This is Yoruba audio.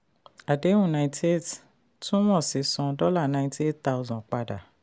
àdéhùn niety eight túmọ̀ sí san dollar ninety eight thousand padà.